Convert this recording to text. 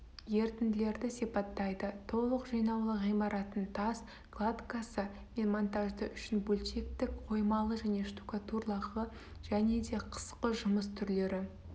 ерітінділерді сипаттайды толық жинаулы ғимараттың тас кладкасы мен монтажды үшін бөлшектік қоймалы және штукатурлығы және де қысқы жұмыс түрлері